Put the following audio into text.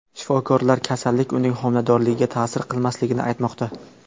Shifokorlar kasallik uning homiladorligiga ta’sir qilmasligini aytmoqda.